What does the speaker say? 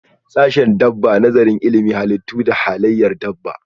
Sashen dabba Nazarin ilimin halittu da halayyar dabba.